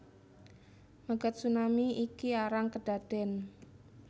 Megatsunami iki arang kedaden